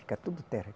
Fica tudo terra.